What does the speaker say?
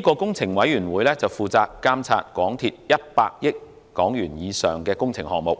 工程委員會負責監察港鐵公司100億港元以上的工程項目，